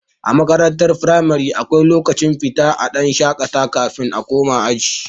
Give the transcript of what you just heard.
A makarantar firamare akwai lokacin fita a dan shakata kafin a koma aji